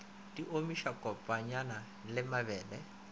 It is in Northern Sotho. di omiša kopanya le mabele